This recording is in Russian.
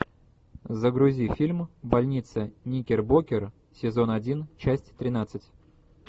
загрузи фильм больница никербокер сезон один часть тринадцать